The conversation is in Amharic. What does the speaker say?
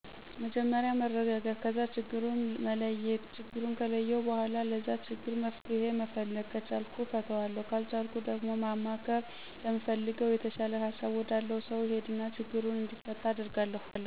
መጀመርያ መረጋጋት ከዛ ችግሩን መለየት ችግሩን ከለየሁ በኋላ ለዛ ችግር መፍትሄ መፈለግ ከቻልሁ እፈታዋለሁ ካልቻልሁ ደግሞ ማማከር ለምፈለገው/የተሻለ ሀሳብ ወዳለው ሰው እሄድና ችግሩ እንዲፈታ አደርጋለሁ።